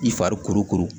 I fari kuru kuru